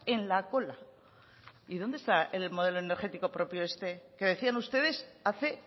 en la cola y dónde está el modelo energético propio este que decían ustedes hace